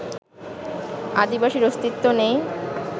আদিবাসীর অস্তিত্ব নেই